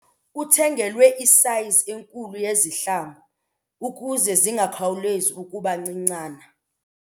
Uthengelwe isayizi enkulu yezihlangu ukuze zingakhawulezi ukuba ncincana.